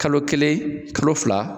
Kalo kelen kalo fila